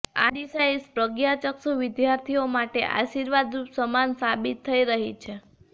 આ ડિસાઈસ પ્રજ્ઞાચક્ષુ વિદ્યાર્થીઓ માટે આશિર્વાદ રૂપ સમાન સાબિત થઈ રહી છે